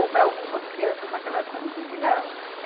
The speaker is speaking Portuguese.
Ou para algumas crianças naquela época não se ensinava.